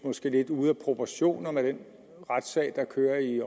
er lidt ude af proportion med den retssag der kører i